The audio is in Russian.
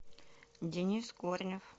денис корнев